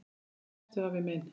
Farinn ertu, afi minn.